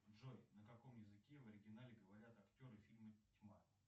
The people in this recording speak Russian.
джой на каком языке в оригинале говорят актеры фильма тьма